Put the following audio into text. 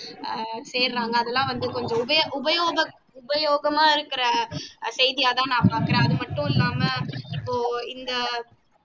ஆஹ் சேருறாங்க அதெல்லாம் வந்து உபயோக உபயோகம் உபயோகமா இருக்கிற செய்தியா தான் நான் பாக்குறேன் அது மட்டுமல்லாம இப்போ இந்த